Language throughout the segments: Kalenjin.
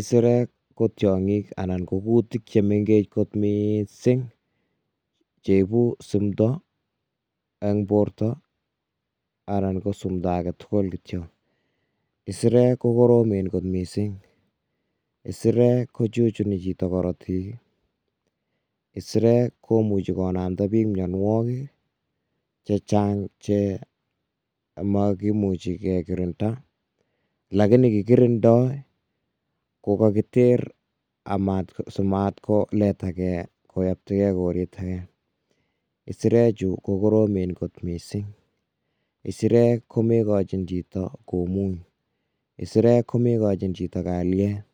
Isirek ko tiong'ik anan ko kutik chemeng'ech kot mising cheibu simto en borto anan ko simto aketukul kityo, isirek kokoromen kot mising, isirek kochuchuni chito korotik, isirek komuchi konamda biik mionwokik chechang che mokimuchi kekirinda lakini kikirindoi kokokiter simat koletakee koyobtokee koret akee, isirechu ko koromen kot mising, isirek ko moikochin chito komuny, isirek ko moikochin chito kalyet,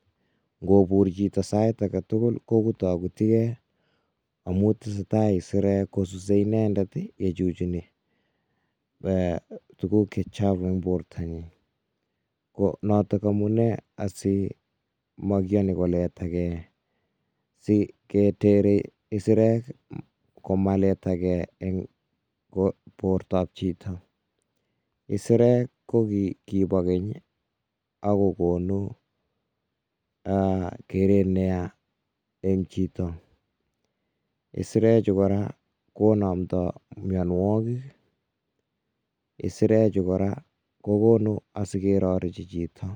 ng'obur chito sait aketukul ko kutokutikee amuun isirek kosuse inendet yechuchuni tukuk che chavu en bortanyin, ko notok amunee asii ko mokiyoni koletakee siketere isirek komaletakee en bortab chito, isirek ko kibo keny ak kokonu Um keret neyaa en chito, isirechu kora konomto mionwokik, isirechu kora kokonu asikerorechi chito.